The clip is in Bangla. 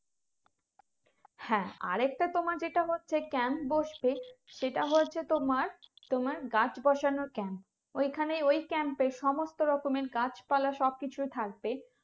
হ্যাঁ আর একটা তোমার যেটা হচ্ছে camp বসবে সেটা হয়েছে তোমার তোমার গাছ বসানোর camp ওই খানে ওই camp এ সমস্ত রকমের গাছ পালা সব কিছুই থাকবে